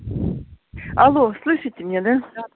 алло слышите меня да да